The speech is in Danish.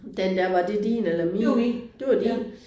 Den der var det din eller min? Det var din